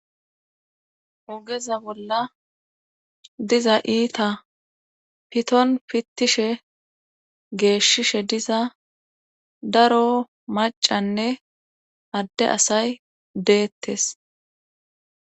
ogeza bolla diza iita piton pittishe geeshshishe diza daro macanne adde asay deettes